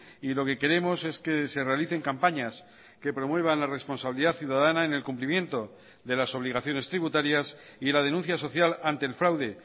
y lo que queremos es que se realicen campañas que promuevan la responsabilidad ciudadana en el cumplimiento de las obligaciones tributarias y la denuncia social ante el fraude